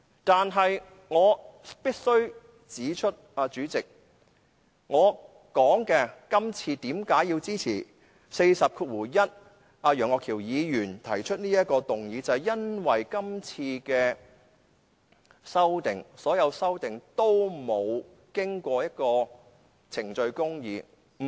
但是，主席，我必須指出，我支持楊岳橋議員根據《規事規則》第401條提出的這項議案，就是因為今次的修訂建議——所有修訂建議——都欠缺程序公義。